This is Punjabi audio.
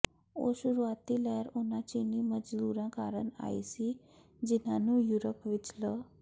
ਇਹ ਸ਼ੁਰੂਆਤੀ ਲਹਿਰ ਉਨ੍ਹਾਂ ਚੀਨੀ ਮਜ਼ਦੂਰਾਂ ਕਾਰਨ ਆਈ ਸੀ ਜਿਨ੍ਹਾਂ ਨੂੰ ਯੂਰਪ ਵਿਚ ਲ